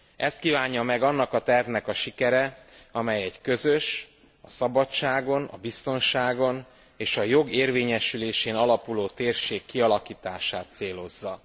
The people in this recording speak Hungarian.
Ezt kívánja meg annak a tervnek a sikere, amely egy közös, a szabadságon, a biztonságon és a jog érvényesülésén alapuló térség kialakítását célozza.